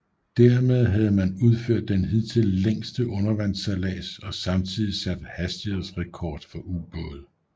Dermed havde man udført den hidtil længste undervandssejlads og samtidigt sat hastighedsrekord for ubåde